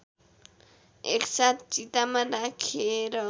एकसाथ चितामा राखेर